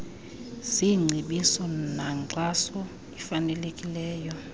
zingcebiso nankxaso ifanelekileyo